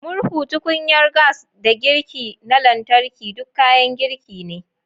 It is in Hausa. Murhu, tukunyar gas, da girki na lantarki duk kayan girki ne.